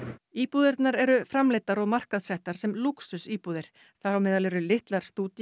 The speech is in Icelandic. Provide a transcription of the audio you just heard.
íbúðirnar eru framleiddar og markaðssettar sem lúxusíbúðir þar á meðal eru litlar